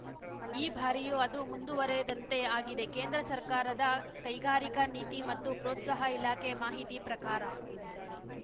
ಈ ಬಾರಿಯೂ ಅದು ಮುಂದುವರೆದಂತೆ ಆಗಿದೆ ಕೇಂದ್ರ ಸರ್ಕಾರದ ಕೈಗಾರಿಕಾ ನೀತಿ ಮತ್ತು ಪ್ರೋತ್ಸಾಹ ಇಲಾಖೆ ಮಾಹಿತಿ ಪ್ರಕಾರ